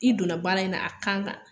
I donna baara in na, a kan ka